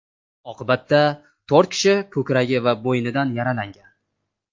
Oqibatda to‘rt kishi ko‘kragi va bo‘ynidan yaralangan.